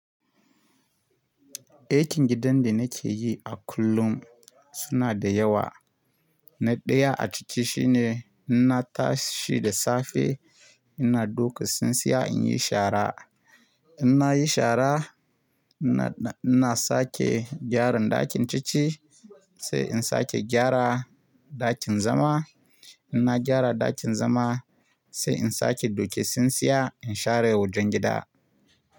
Aikin gidan da nake yi a kullum suna da yawa. Na ɗaya a ciki shine inna tashi da safe ina doka tsintsiya in yi shara. In na yi shara ina, ina sake gyaran ɗakin cici sai in sake gyara ɗakin zama. In na gyara ɗakin zama sai in sake doke tsintsiya in share wajen gida.